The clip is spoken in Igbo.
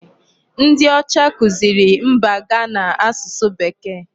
Ndị ọcha kuziri mba Ghana asụsụ Bekee.